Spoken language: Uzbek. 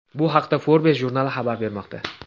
Bu haqda Forbes jurnali xabar bermoqda .